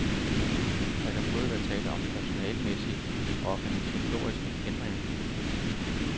Der kan både være tale om personalemæssige og organisatoriske ændringer.